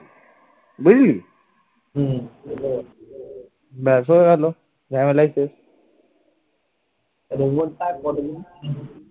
robot টা আর কদিন